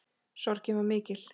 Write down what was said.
Sorgin var mikil.